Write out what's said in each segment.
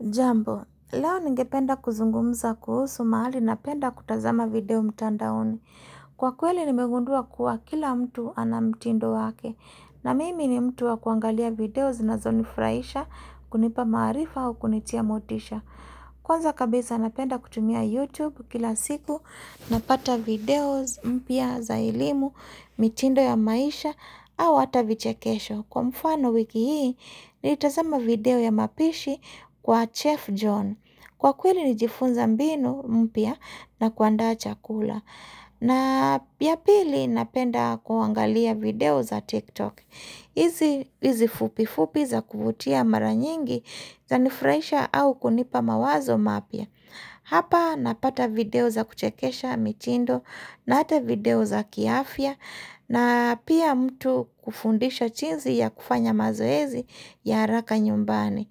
Jambo, leo ningependa kuzungumza kuhusu mahali na penda kutazama video mtanda oni. Kwa kweli nimegundua kuwa kila mtu ana mtindo wake. Na mimi ni mtu wa kuangalia video zinazonifraisha kunipa marifa au kunitia motisha. Kwanza kabisa napenda kutumia YouTube kila siku na pata video mpya za elimu, mtindo ya maisha au ata vichakesho. Kwa mfano wiki hii ni itazama video ya mapishi kwa Chef John Kwa kweli ni jifunza mbinu mpia na kuanda chakula na piyapili napenda kuangalia video za TikTok hizi Izi fupi fupi za kuvutia maranyingi za nifraisha au kunipa mawazo mapya Hapa napata video za kuchekesha mchindo na hata video za kiafia na pia mtu kufundisha chinzi ya kufanya mazoezi ya haraka nyumbani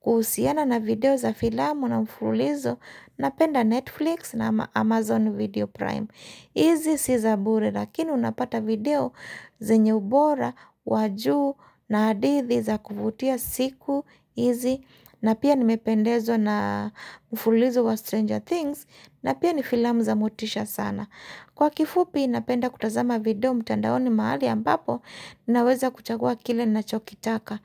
kuhusiana na video za filamu na mfulizo Napenda Netflix na Amazon video Prime Izi si zabure lakini unapata video zenye ubora Wajuu na hadithi za kuvutia siku Izi na pia nimependezo na mfulizo wa Stranger Things na pia ni filamu za mutisha sana Kwa kifupi inapenda kutazama video mtandaoni mahali ambapo naweza kuchagua kile na chokitaka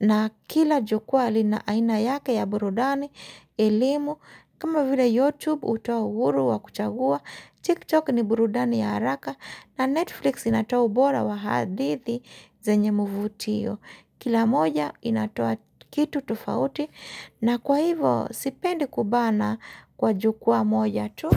na kila jukua alina aina yake ya burudani, elimu, kama vile youtube utoa uuru wa kuchagua, tiktok ni burudani ya haraka na netflix inatoa ubora wa hadithi zenye muvutio. Kila moja inatoa kitu tofauti na kwa hivo sipendi kubana kwa jukua moja tu.